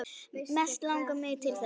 Mest langar mig til þess.